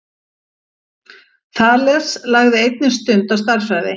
Þales lagði einnig stund á stærðfræði.